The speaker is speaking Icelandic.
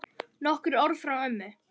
Nokkur orð frá ömmu.